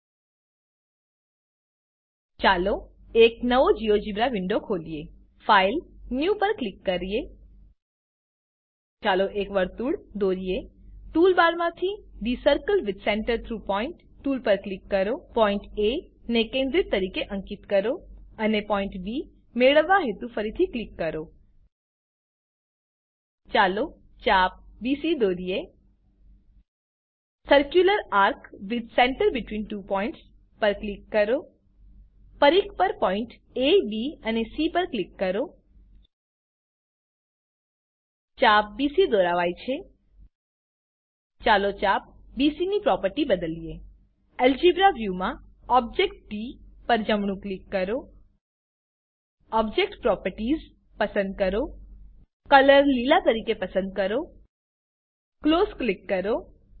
000454 000450 ચાલો એક નવો જીઓજિબ્રા વીન્ડો ખોલીએ ફાઇલ ન્યૂ પર ક્લિક કરીએ ચાલો એક વર્તુળ દોરીએ ટૂલબારમાંથી the circle with centre through point tool પર ક્લિક કરો પોઈન્ટ એ ને કેન્દ્ર તરીકે અંકીત કરો અને પોઈન્ટ બી મેળવવા હેતુ ફરીથી ક્લિક કરો ચાલો ચાપ બીસી દોરીએ circular ARC with centre between two points પર ક્લિક કરો પરિધ પર પોઈન્ટ અબ અને સી પર ક્લિક કરો ચાપ બીસી દોરાવાય છે ચાલો ચાપ બીસી ની પ્રોપર્ટી બદલીએ અલ્જેબ્રા વ્યૂ માં ઓબ્જેક્ટ ડી પર જમણું ક્લિક કરો ઓબ્જેક્ટ પ્રોપર્ટીઝ પસંદ કરો કલર લીલા તરીકે પસંદ કરો ક્લોઝ ક્લિક કરો